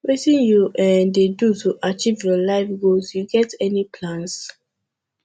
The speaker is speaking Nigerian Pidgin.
wetin you um dey do to achieve your life goals you get any plans